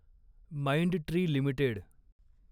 Mindtree limited